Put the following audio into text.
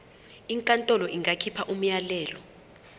inkantolo ingakhipha umyalelo